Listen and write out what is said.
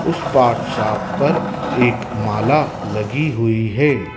उस व्हाट्सएप पर एक माला लगी हुईं हैं।